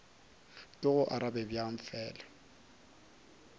ke go arabe bjang fela